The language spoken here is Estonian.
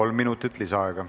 Kolm minutit lisaaega.